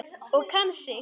Og kann sig.